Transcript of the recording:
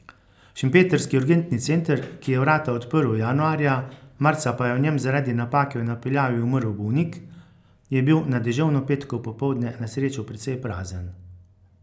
Šempetrski urgentni center, ki je vrata odprl januarja, marca pa je v njem zaradi napake v napeljavi umrl bolnik, je bil na deževno petkovo popoldne na srečo precej prazen.